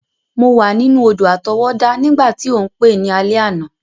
Mo wa ninu odò-àtọwọ́dá nígbàtí o n pe ni alẹ́ àná.